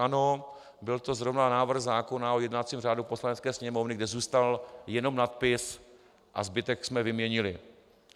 Ano, byl to zrovna návrh zákona o jednacím řádu Poslanecké sněmovny, kde zůstal jenom nadpis a zbytek jsme vyměnili.